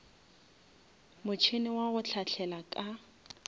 motšhene wa go hlahlela ka